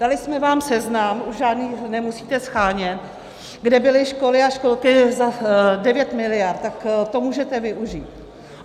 Dali jsme vám seznam, už žádný nemusíte shánět, kde byly školy a školky za 9 miliard, tak to můžete využít.